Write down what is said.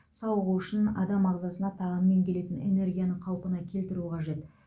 сауығу үшін адам ағзасына тағаммен келетін энергияны қалпына келтіру қажет